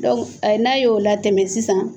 n'a y'o latɛmɛ sisan